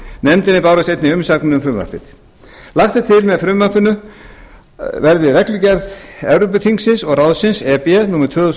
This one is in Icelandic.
nefndinni bárust einnig umsagnir um frumvarpið lagt er til að með frumvarpinu verði reglugerð evrópuþingsins og ráðsins númer tvö þúsund og